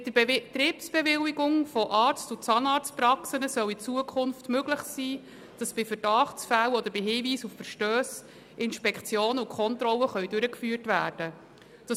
Mit der Betriebsbewilligung von Arzt- und Zahnarztpraxen soll es künftig möglich sein, dass bei Verdachtsfällen oder Hinweisen auf Verstösse Inspektionen und Kontrollen durchgeführt werden können.